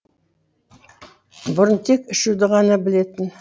бұрын тек ішуді ғана білетін